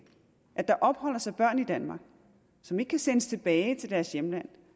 at der opholder sig børn i danmark som ikke kan sendes tilbage til deres hjemland